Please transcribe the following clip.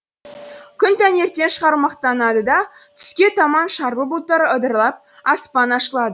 күн таңертең шағырмақтанады да түске таман шарбы бұлттар ыдырап аспан ашылады